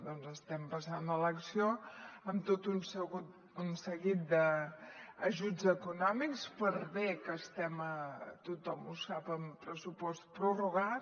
doncs estem passant a l’acció amb tot un seguit d’ajuts econòmics per bé que estem tothom ho sap amb pressupost prorrogat